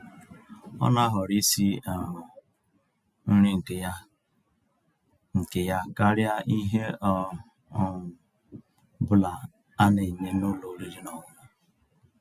Ọ́ ná-àhọ̀rọ́ ísi um nrí nkè yá nkè yá kàríà íhè ọ́ um bụ́là á ná-ènyé n'ụ́lọ̀ ọ̀rị́rị́ ná ọ̀ṅụ̀ṅụ̀ um